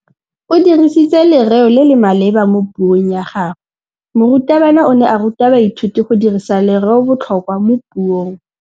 O dirisitse lerêo le le maleba mo puông ya gagwe. Morutabana o ne a ruta baithuti go dirisa lêrêôbotlhôkwa mo puong.